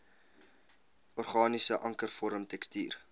organiese ankervorm tekstuur